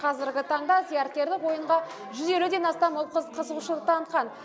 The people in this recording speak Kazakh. қазіргі таңда зияткерлік ойынға жүз елуден астам ұл қыз қызығушылық танытқан